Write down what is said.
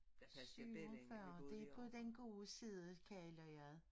47 det på den gode side kan jeg udlede